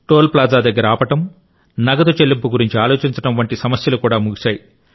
toll plaza దగ్గర ఆపడం నగదు చెల్లింపు గురించి ఆలోచించడం వంటి సమస్యలు కూడా ముగిశాయి